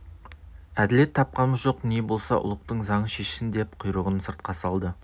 әділет тапқамыз жоқ не болса ұлықтың заңы шешсін деп құйрығын сыртқа салды